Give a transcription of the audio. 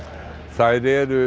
þær eru